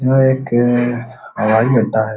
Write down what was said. यह एक हवाईअड्डा है।